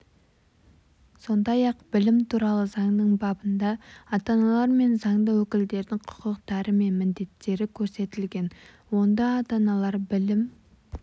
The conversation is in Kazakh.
сондай-ақ білім туралы заңның бабында ата-аналар мен заңды өкілдердің құқықтары мен міндеттері көрсетілген онда ата-аналар білім